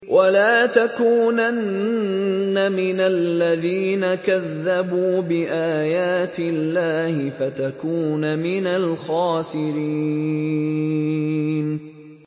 وَلَا تَكُونَنَّ مِنَ الَّذِينَ كَذَّبُوا بِآيَاتِ اللَّهِ فَتَكُونَ مِنَ الْخَاسِرِينَ